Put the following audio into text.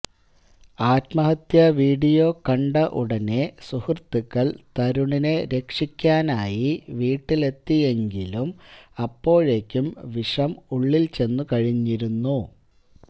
ആത്മഹത്യവീഡിയോ കണ്ട ഉടനെ സുഹൃത്തുക്കള് തരുണിനെ രക്ഷിക്കാനായി വീട്ടിലെത്തിയെങ്കിലും അപ്പോഴേക്കും വിഷം ഉള്ളില്ച്ചെന്നുകഴിഞ്ഞിരുന്നു